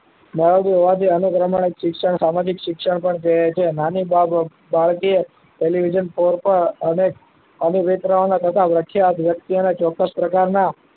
મેળવતું હોવાથી અનુકર્ણ શિક્ષણ સામાજિક શિક્ષણ કહે છે. નાની બાળકી એ television પર અને વિતરણ ઉપર વ્યાખ્યા ચોક્કસ પ્રકારના